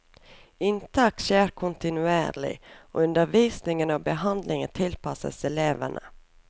Inntak skjer kontinuerlig, og undervisning og behandling tilpasses elevene.